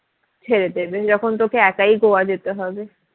ছেড়ে দেবে যখন তোকে একাই গোয়া যেতে হবে